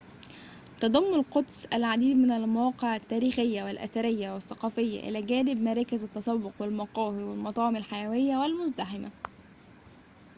تضم القدس العديد من المواقع التاريخية والأثرية والثقافية إلى جانب مراكز التسوق والمقاهي والمطاعم الحيوية والمزدحمة